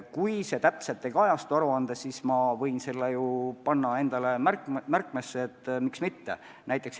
Kui see aruandes täpselt ei kajastu, siis ma märgin selle endale üles – tõesti, miks mitte.